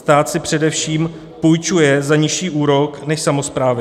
Stát si především půjčuje za nižší úrok než samosprávy.